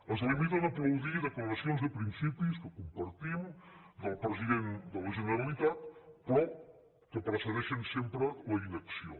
es limiten a aplaudir declaracions de principis que compartim del president de la generalitat però que precedeixen sempre la inacció